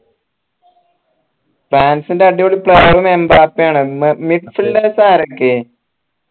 ഫ്രാൻസിന്റെ അടിപൊളി player ഉം എംബപ്പേ ആണ് മി mid fielders ആരൊക്കെ